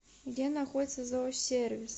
где находится зоосервис